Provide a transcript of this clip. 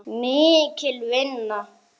Mikil vinna.